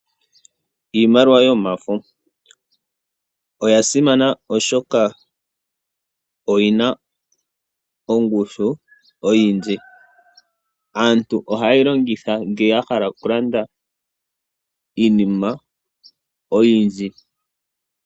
Iimaliwa yomafo oya simana oshoka oyina ongushu oyindji. Aantu oha yeyi longitha ngele ya hala okulanda iinima oyindji.